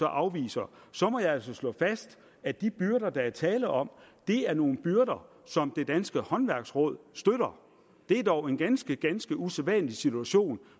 afviser må jeg altså slå fast at de byrder der er tale om er nogle byrder som det danske håndværksråd støtter det er dog en ganske ganske usædvanlig situation